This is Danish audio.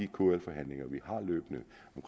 kl forhandlinger vi